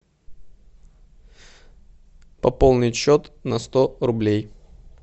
пополнить счет на сто рублей